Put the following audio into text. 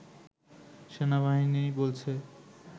সেনাবাহিনী বলছে